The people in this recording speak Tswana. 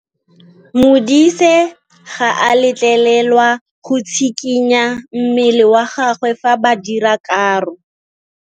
Modise ga a letlelelwa go tshikinya mmele wa gagwe fa ba dira karô.